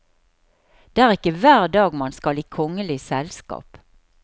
Det er ikke hver dag man skal i kongelig selskap.